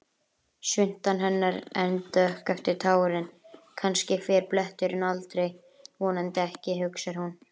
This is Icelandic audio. Svuntan hennar enn dökk eftir tárin, kannski fer bletturinn aldrei, vonandi ekki, hugsar hún.